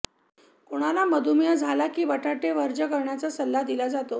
कोणाला मधुमेह झाला की बटाटे वर्ज्य करण्याचा सल्ला दिला जातो